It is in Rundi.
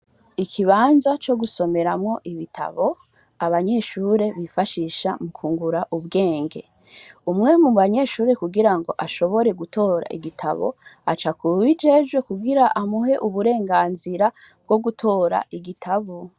Ikibanza co gusomeramwo ibitabo abanyeshure bifashisha mu kwungura ubwenge. Umwe mubanyeshure kugira ngo ashobore gutora igitabo aca kuwubijejwe kugira amuhe uburenganzira bwo gutora igitabo.